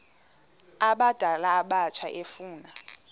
abadala abatsha efuna